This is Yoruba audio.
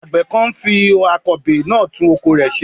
Àgbẹ̀ kan ń fi akọbè náà tún oko rẹ̀ ṣe.